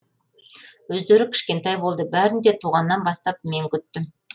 өздері кішкентай болды бәрін де туғаннан бастап мен күттім